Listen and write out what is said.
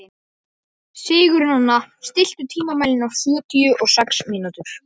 Hvernig gat hún gleymt Týra greyinu?